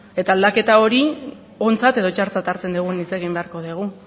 eta aldaketa hori ontzat edo txartzat hartzen dugun hitz egin beharko dugu